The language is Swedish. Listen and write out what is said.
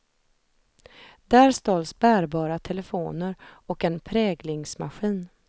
Där stals bärbara telefoner och en präglingsmaskin.